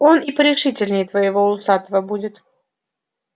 он и порешительней твоего усатого будет